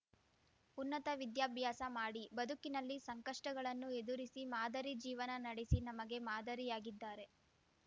ಉನ್ನತ ವಿದ್ಯಾಭ್ಯಾಸ ಮಾಡಿ ಬದುಕಿನಲ್ಲಿ ಸಂಕಷ್ಟಗಳನ್ನು ಎದುರಿಸಿ ಮಾದರಿ ಜೀವನ ನಡೆಸಿ ನಮಗೆ ಮಾದರಿಯಾಗಿದ್ದಾರೆ